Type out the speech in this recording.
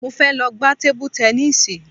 Mo fẹ́ lọ gba tébú tẹníìsì